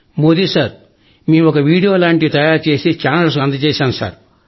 Modi sir మేం ఒక మీడియో లాంటివి తయారు చేసి ఛానల్స్ కు అందజేశాం సార్